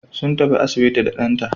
Sun tafi asibiti da ɗanta.